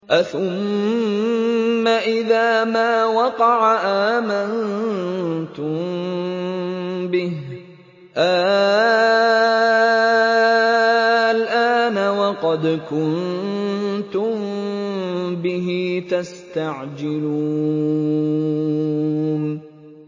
أَثُمَّ إِذَا مَا وَقَعَ آمَنتُم بِهِ ۚ آلْآنَ وَقَدْ كُنتُم بِهِ تَسْتَعْجِلُونَ